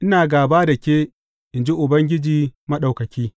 Ina gāba da ke, in ji Ubangiji Maɗaukaki.